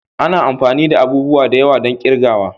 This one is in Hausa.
Ana amfani da abubuwa da yawa don kirgawa.